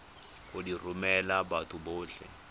go di romela batho botlhe